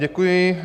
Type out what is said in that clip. Děkuji.